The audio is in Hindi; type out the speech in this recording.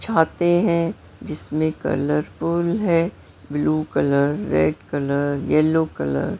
चाहते है जिसमें कलरफुल है blue colour red colour yellow colour ---